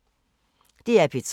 DR P3